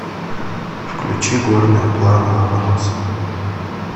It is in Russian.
включи горная плана ломоносова